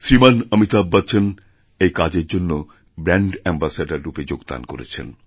শ্রীমান অমিতাভ বচ্চন এই কাজের জন্য ব্র্যাণ্ড অ্যামবাসেডররূপে যোগদান করেছেন